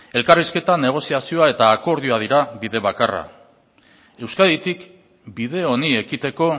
elkarrizketa negoziazioa eta akordioa dira bide bakarra euskaditik bide honi ekiteko